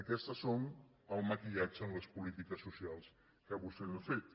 aquest és el maquillatge en les polítiques socials que vostès han fet